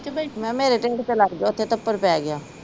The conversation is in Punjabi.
ਮੈ ਕਿਹਾ ਮੇਰੇ ਟਿਡ ਤੇ ਲੜ ਗਿਆ ਉੱਥੇ ਥੱਫੜ ਪੈ ਗਿਆ।